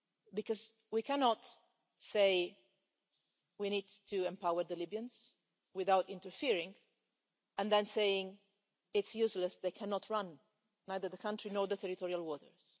Because we cannot say we need to empower the Libyans without interfering and then say it's useless, they cannot run either the country nor the territorial waters.